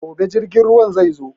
Gobe jirgin ruwan zai zo.